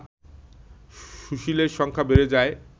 সুশীলের সংখ্যা বেড়ে যায়